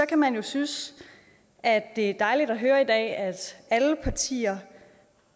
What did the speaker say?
kan man jo synes at det er dejligt at høre i dag at alle partier